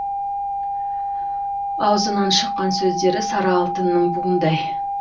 аузынан шыққан сөздері сары алтынның буындай